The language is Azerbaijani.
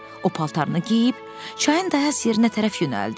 O paltarını geyib, çayın daha əks yerinə tərəf yönəldi.